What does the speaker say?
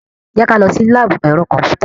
Jẹ́ ká lọ sí láàbù ẹ̀rọ kọ̀m̀pútà.